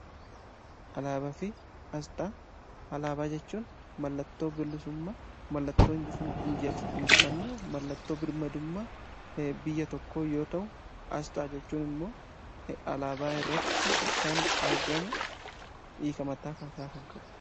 Alaabafi asxaa: Alaabaa jechuun mallattoo bilisummaa mallattoo injifannoo mallattoo birmadummaa biyya tokko yoo ta'u asxaa jechuun immoo alaabaa irratti kan argamu hiika mataa isaa kan qabudha.